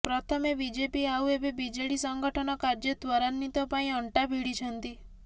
ପ୍ରଥମେ ବିଜେପି ଆଉ ଏବେ ବିଜେଡି ସଂଗଠନ କାର୍ଯ୍ୟ ତ୍ବରାନ୍ବିତ ପାଇଁ ଅଣ୍ଟା ଭିଡିଛନ୍ତି